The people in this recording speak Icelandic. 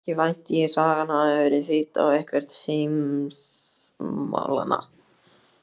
Ekki vænti ég sagan hafi verið þýdd á eitthvert heimsmálanna?